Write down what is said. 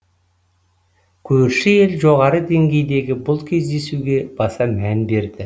көрші ел жоғары деңгейдегі бұл кездесуге баса мән береді